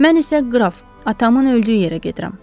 Mən isə, Qraf, atamın öldüyü yerə gedirəm.